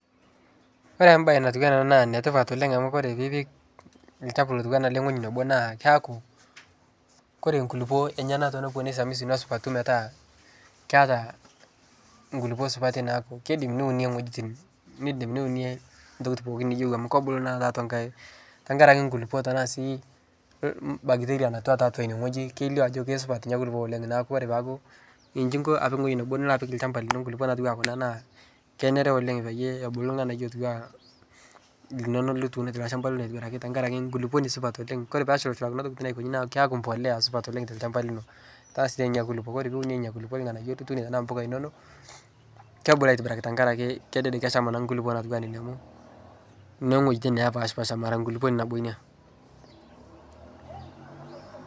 Kore bae natua ana naa netipat oleng amu kore piipik lchafu lotua ale ng'oji nebo naa keaku kore nkulupo enyana tonopuo nesamisu nesupatu metaa keata nkulupo supati neaku keiidim niune ng'ojitin nidim niune ntokitin pooki niyeu amu kebulu naa tatua nkae tankaraki nkulupo sii bacteria natua tatua ine nie ng'oji kelio ajo keisupat nia kulupo oleng aaku kore peaku nchii inko apiki ng'oji nebo nilo apik lshamba lino nkulupo natua kuna naa kenare oleng payie ebulu lng'anayuo otua linono lituno teilo lshamba lino atibiraki tenkaraki nkuluponi supat oleng kore peshulshula kuna tokitin aikonyi naa keaku mpolea supat oleng telshamba lino taasie nenia nkulupo kore piune nenia kulupo lng'anayuo lituune tana mpoka inono kebulu atibiraki tenkaraki kedede kesham nkulupo natua nenia amu ng'ojitin nepashpasha mera nkulupo ni nabo Ina.